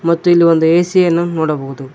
ಮತ್ತು ಇಲ್ಲಿ ಒಂದು ಎ_ಸಿ ಯನ್ನು ನೋಡಬಹುದು.